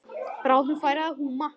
Bráðum færi að húma.